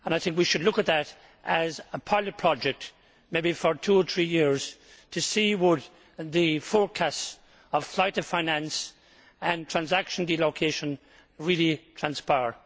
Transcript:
We should look at that as a pilot project, maybe for two or three years, to see if the forecasts of flight of finance and transaction relocation really transpire.